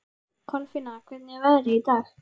Kolfinna, hvernig er veðrið í dag?